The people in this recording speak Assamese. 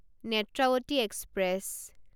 নেত্ৰাৱতী এক্সপ্ৰেছ